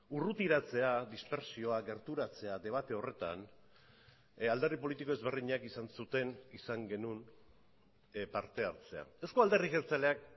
urrutiratzea dispertsioa gerturatzea debate horretan alderdi politiko ezberdinak izan zuten izan genuen parte hartzea euzko alderdi jeltzaleak